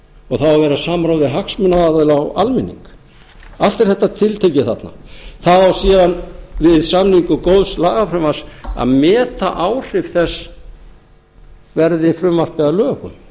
og það á að vera samráð við hagsmunaaðila og almenning allt er þetta tiltekið þarna það á síðan við samning góðs lagafrumvarps að meta áhrif þess verði frumvarpið að lögum